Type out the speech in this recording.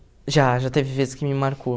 Já, já teve vezes que me marcou.